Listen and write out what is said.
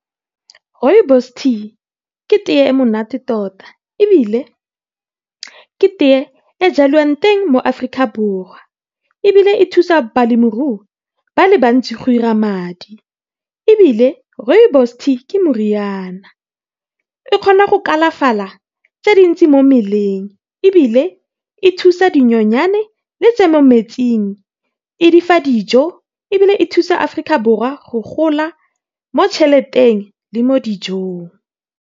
Rooibos tea ke teye e monate tota ebile ke teye e jalwang teng mo Aforika Borwa, ebile e thusa balemirui ba le bantsi go dira madi. Ebile rooibos tea ke moriana e kgona go kalafala tse dintsi mo mmeleng, ebile e thusa dinyonyane le tse mo metsing e difa dijo ebile e thusa Aforika Borwa go gola mo tšheleteng le mo dijong.